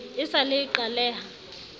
e sa le e qaleha